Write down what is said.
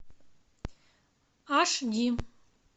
аш ди